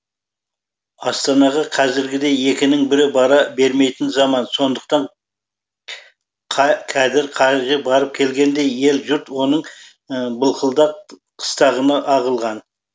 астанаға қазіргідей екінің бірі бара бермейтін заман сондықтан кәдір қажыға барып келгендей ел жұрт оның былқылдақ қыстағына ағылған